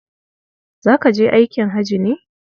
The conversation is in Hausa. Za ka je aikin haji ne?